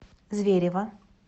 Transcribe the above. зверево